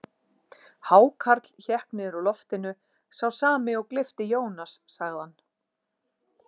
Hákarl hékk niður úr loftinu, sá sami og gleypti Jónas, sagði hann.